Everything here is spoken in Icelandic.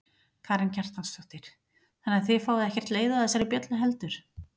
Karen Kjartansdóttir: Þannig að þið fáið ekkert leið á þessari bjöllu heldur?